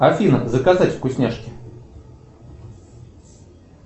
афина заказать вкусняшки